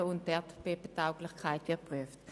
Zudem wird die Erdbebentauglichkeit geprüft.